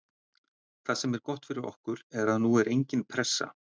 Það sem er gott fyrir okkur er að nú er engin pressa.